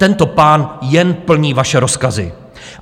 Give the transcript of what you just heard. Tento pán jen plní vaše rozkazy.